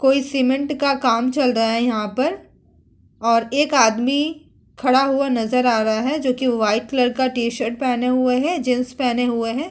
कोई सीमेंट का काम चल रहा है यहाँ पर और एक आदमी खड़ा हुआ नजर आ रहा है जो कि वाइट कलर का टी-शर्ट पहने हुए है। जीन्स पहने हुए है।